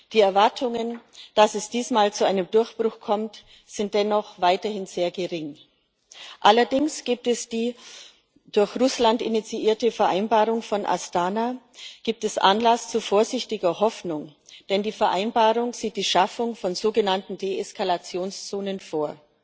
Die Erwartungen, dass es diesmal zu einem Durchbruch kommt, sind dennoch weiterhin sehr gering. Allerdings gibt es die durch Russland initiierte Vereinbarung von Astana, gibt es Anlass zu vorsichtiger Hoffnung, denn die Vereinbarung sieht die Schaffung von sogenannten Deeskalationszonen vor.